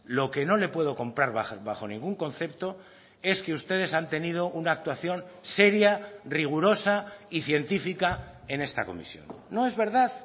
lo que no le puedo comprar bajo ningún concepto es que ustedes han tenido una actuación seria rigurosa y científica en esta comisión no es verdad